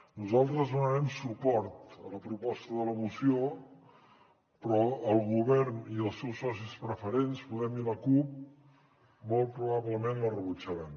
nosaltres donarem suport a la proposta de la moció però el govern i els seus socis preferents podem i la cup molt probablement la rebutjaran